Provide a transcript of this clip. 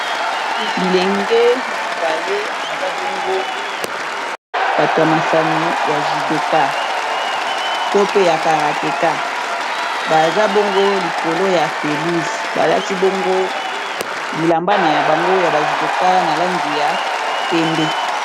bilenge mibale baza bongo batu ya masano ya judoka to pe ya karateka baza bongo likolo ya pelouze balati bongo bilamba ya bango ya bajudoka na langi ya pembe